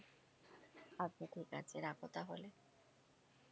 আচ্ছা ঠিক আছে, রাখো তাহলে।